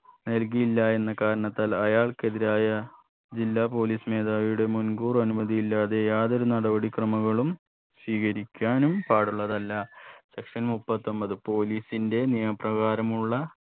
നൽകിയില്ല എന്ന കാരണത്താൽ അയാൾക്കെതിരായ ജില്ലാ police മേധാവിയുടെ മുൻ‌കൂർ അനുമതിയില്ലാതെ യാതൊരു നടപടി ക്രാമകളും സ്വീകരിക്കാനും പാടുള്ളതല്ല section മുപ്പത്തൊമ്പത് police ന്റെ നിയമപ്രകാരമുള്ള